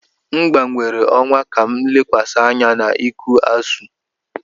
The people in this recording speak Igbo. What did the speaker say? M gbanwere ọwa ka m lekwasị anya na iku Asuu.